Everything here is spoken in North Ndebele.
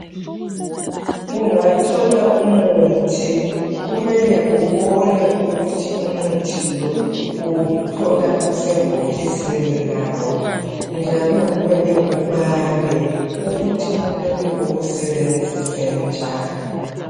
Ungathola umuthi. Kumele ubone ukuthi umuthi lo, uwuthola usebhokisini lawo, njalo kumele ubale,.ukuthi kumele uwusebenzise njani.